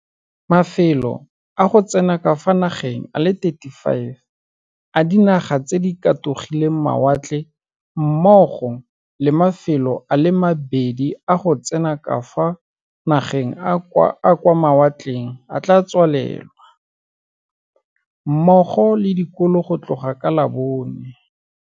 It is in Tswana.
Mafelo a go tsena ka fa nageng a le 35 a dinaga tse di katogileng mawatle mmogo le mafelo a le mabedi a go tsena ka fa nageng a a kwa mawatle a tla tswalelwa, mmogo le dikolo go tloga ka labone